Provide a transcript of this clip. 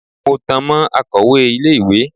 Mo tan mọ́ akọ̀wẹ́ ilé ìwé.